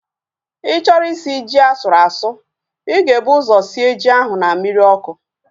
Ịchọrọ isi ji asụrụ asụ, ịga ebu ụzọ sie ji ahu na mmiri ọkụ